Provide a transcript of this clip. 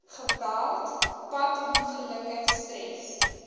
geweld padongelukke stres